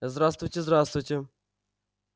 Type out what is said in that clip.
здравствуйте здравствуйте